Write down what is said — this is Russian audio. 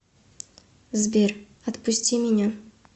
сбер отпусти меня